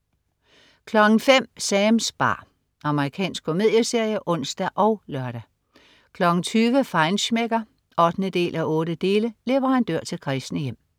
05.00 Sams bar. Amerikansk komedieserie (ons og lør) 20.00 Feinschmecker 8:8. Leverandør til kræsne hjem